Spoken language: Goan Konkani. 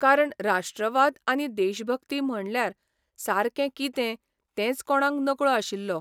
कारण राष्ट्रवाद आनी देशभक्ती म्हणल्यार सारकें कितें तेंच कोण नकळो आशिल्लो.